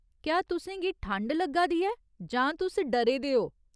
क्या तुसें गी ठंड लग्गा दी ऐ जां तुस डरे दे ओ?